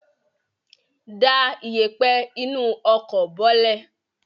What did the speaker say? Da ìyẹ̀pẹ̀ inú ọkọ̀ bọ́lẹ̀!